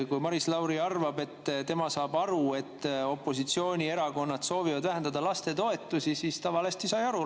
Kui Maris Lauri arvab, et tema saab aru, et opositsioonierakonnad soovivad vähendada lastetoetusi, siis ta sai valesti aru.